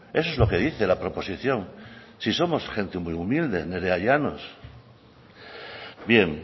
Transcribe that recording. eso es lo que dice la proposición si somos gente muy humilde nerea llanos bien